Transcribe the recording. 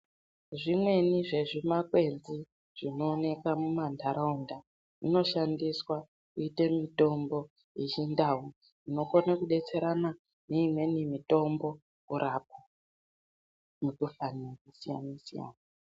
Zvimweni zvezvimakwenzi zvinooneka mumantaraunda zvinoshandiswa kuite mitombo yechindau. Inokone kubetserana neimweni mitombo kurapa mikuhlani yakasiyana-siyana.